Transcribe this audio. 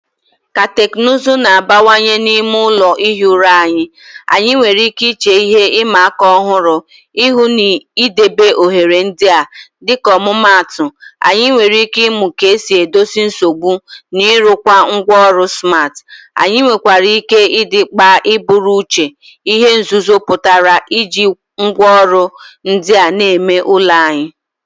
Ka teknụzụ na-abanyekwu n'ime ụlọ ihi ụra anyị, anyị nwere ike iche ihe ịma aka ọhụrụ ihu n'idebe oghere ndị a. Dịka ọmụmaatụ, anyị nwere ike ịmụ ka esi edozi nsogbu na ịrụkwa ngwaọrụ smart. Anyị nwekwara ike ịdị mkpa iburu n'uche ihe nzuzo pụtara iji ngwaọrụ ndị a n'ime ụlọ anyị.